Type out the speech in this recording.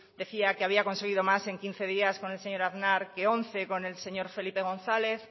decía que había conseguido más en quince días con el señor aznar que once con el señor felipe gonzález